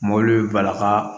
Mɔbili bɛ bala ka